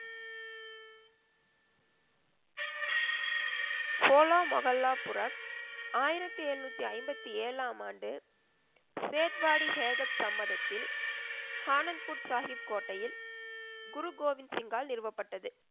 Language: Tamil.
ஹோலா மொகல்லா புரக், ஆயிரத்தி எழுநூத்தி ஐம்பத்தி ஏழாம் ஆண்டு சேட்வாடி ஹேகத் சம்மதத்தில் ஆனந்த்பூர் சாஹிப் கோட்டையில், குரு கோவிந்த் சிங்கால் நிறுவப்பட்டது.